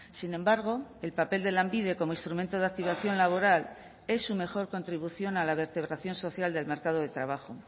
sin embargo el papel de lanbide como instrumento de activación laboral es su mejor contribución a la vertebración social del mercado de trabajo